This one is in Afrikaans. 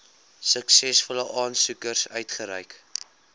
suksesvolle aansoekers uitgereik